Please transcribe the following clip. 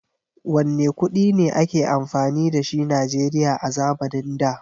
Wanne kuɗi ne a ke amfani da shi Najeriya a zamanin da?